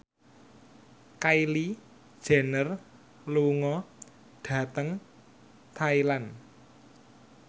Kylie Jenner lunga dhateng Thailand